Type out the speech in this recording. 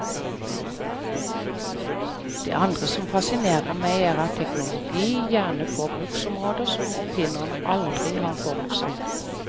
Det andre som fascinerer meg er at teknologi gjerne får bruksområder som oppfinnerne aldri har forutsagt.